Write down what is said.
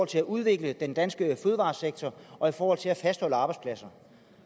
til at udvikle den danske fødevaresektor og i forhold til at fastholde arbejdspladser